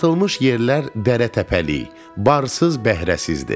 Satılmış yerlər dərə-təpəlik, barsız-bəhrəsizdi.